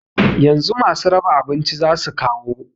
Yanzu masu raba abinci zasu kawo